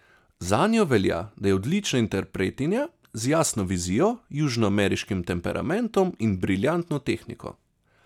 Zanjo velja, da je odlična interpretinja, z jasno vizijo, južnoameriškim temperamentom in briljantno tehniko.